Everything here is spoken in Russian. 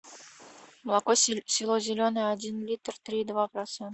молоко село зеленое один литр три и два процента